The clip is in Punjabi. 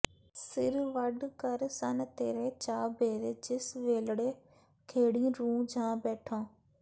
ਸਿਰ ਵੱਢ ਕਰ ਸਨ ਤੇਰੇ ਚਾ ਬੇਰੇ ਜਿਸ ਵੇਲੜੇ ਖੇੜੀਂ ਰੂੰ ਜਾ ਬੈਠੋਂ